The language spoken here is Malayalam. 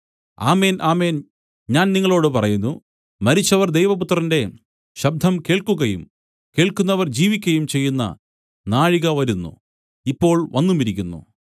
ആമേൻ ആമേൻ ഞാൻ നിങ്ങളോടു പറയുന്നു മരിച്ചവർ ദൈവപുത്രന്റെ ശബ്ദം കേൾക്കുകയും കേൾക്കുന്നവർ ജീവിക്കയും ചെയ്യുന്ന നാഴിക വരുന്നു ഇപ്പോൾ വന്നുമിരിക്കുന്നു